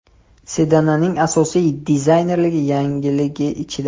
Sedanning asosiy dizaynerlik yangiligi ichida.